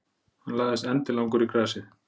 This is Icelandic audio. Hann lagðist endilangur í grasið.